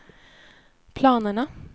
planerna